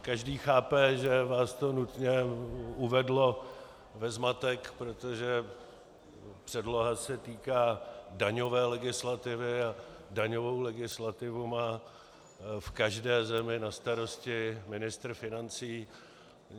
Každý chápe, že vás to nutně uvedlo ve zmatek, protože předloha se týká daňové legislativy a daňovou legislativu má v každé zemi na starosti ministr financí.